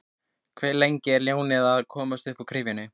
Hve lengi er ljónið að komast uppúr gryfjunni?